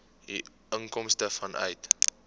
u inkomste vanuit